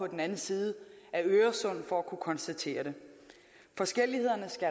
den anden side af øresund for at kunne konstatere det forskellighederne skal